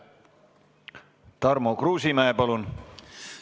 Tarmo Kruusimäe, palun!